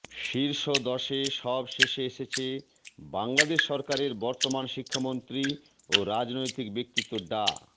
শীর্ষ দশে সব শেষে এসেছে বাংলাদেশ সরকারের বর্তমান শিক্ষামন্ত্রী ও রাজনৈতিক ব্যক্তিত্ব ডা